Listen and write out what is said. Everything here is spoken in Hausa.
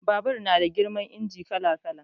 Babur na da girman injin kala kala